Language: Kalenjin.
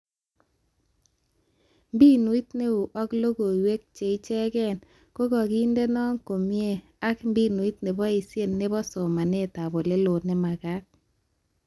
Mbinut neo ak logoiwek cheichekee kokakindeno komie ak mbinut neboishee nebo somanetab oleloo nemagat